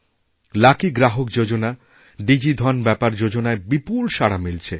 লাকিগ্রাহক যোজনা ডিজি ধন ব্যাপার যোজনায় বিপুল সাড়া মিলছে